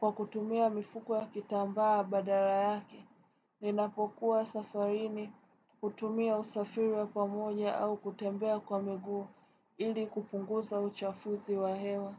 kwa kutumia mifuko ya kitambaa badala yake. Ninapokuwa safarini kutumia usafiri wa pamoja au kutembea kwa miguu ili kupunguza uchafuzi wa hewa.